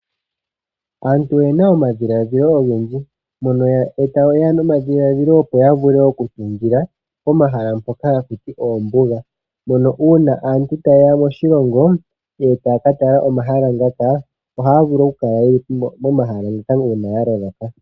Aantu oyena omadhiladhilo ogendji mono yeya nomadhiladhilo opo ya vule okutungila pomahala mpoka haku tiwa oombuga. Mono uuna aantu taye ya moshilong, e taya ka tala omahala ngaka ohaya vulu okukala momahala moka uuna ya loloka.